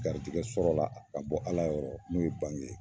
Garijɛgɛ sɔrɔ la ka bɔ Ala yɔrɔ n'o ye bange ye.